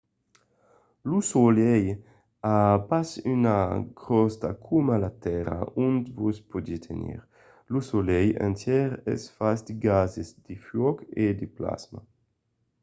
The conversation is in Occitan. lo solelh a pas una crosta coma la tèrra ont vos podètz tenir. lo solelh entièr es fach de gases de fuòc e de plasma